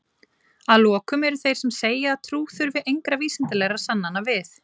að lokum eru þeir sem segja að trú þurfi engra vísindalegra sannana við